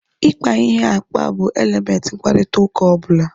Ikpa ihe akpa bụ elementị mkparịta ụka ọbụla